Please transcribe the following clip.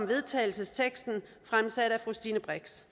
vedtagelse fremsat af fru stine brix